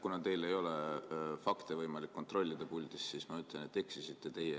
Kuna teil ei ole puldis võimalik fakte kontrollida, siis ma ütlen, et eksisite teie.